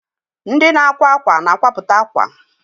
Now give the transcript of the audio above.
Fashion designers makes clothes.